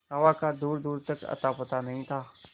हवा का दूरदूर तक अतापता नहीं था